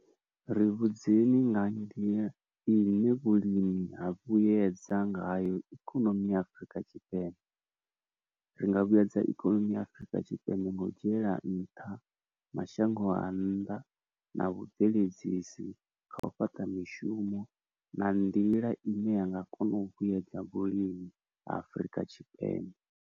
Ri vhudzekani nga nḓila ine vhulimi ha vhuyedza ngayo ikonomi ya Afrika Tshipembe ri nga vhuyedza ikonomi ya Afrika Tshipembe ngo u dzhiela nṱha mashango a nnḓa na vhubveledzisi ha u fhaṱa mishumo na nḓila ine yanga kono u vhuyedza vhulimi Afrika Tshipembe.